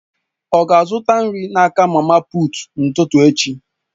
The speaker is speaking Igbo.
Ọ ga-azụta nri n'aka mama puut n'ụtụtụ echi?